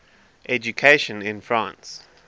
education in france